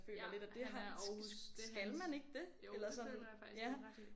Ja han er Aarhus det hans jo det føler jeg faktisk du har ret i